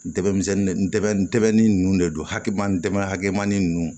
N dɛmisɛnnin ndɛbɛ nunnu de don hakilinan hakɛmani ninnu